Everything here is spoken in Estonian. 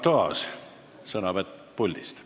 Arto Aas, sõnavõtt puldist.